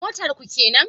Motar ku kenan?